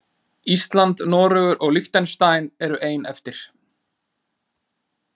Ísland, Noregur og Liechtenstein eru ein eftir.